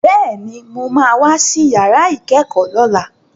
Bẹ́ẹ̀ni, mo ma wá sí yàrá ìkẹ́kọ̀ọ́ lọ́la